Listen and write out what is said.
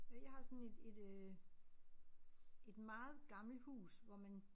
Øh jeg har sådan et et øh et meget gammelt hus hvor man